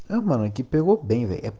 кипелов